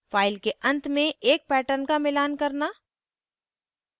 file के अंत में एक pattern का मिलान करना